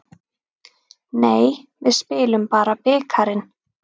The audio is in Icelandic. Nei, við spilum bara bikarinn.